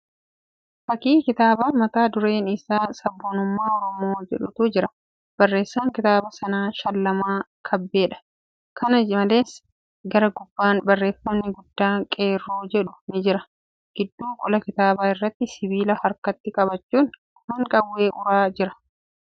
Fakkii kitaabaa mata dureen isaa sabboonummaa Oromoo jedhutu jira. Barreessaan kitaaba kanaa Shallamaa kabbeedha. Kana malees, gara gubbaan barreefamni gadaa qeerroo jedhu ni jira. Gidduu qola kitaabaa irratti sibiila harkatti qabachuun afaan qawwee uraa jira.